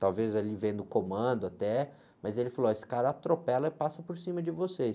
talvez ali vendo o comando até, mas ele falou, ó, esse cara atropela e passa por cima de vocês.